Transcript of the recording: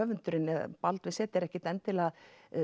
Baldvin z er ekkert endilega að